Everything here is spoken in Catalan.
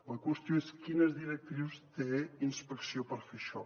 la qüestió és quines directrius té inspecció per fer això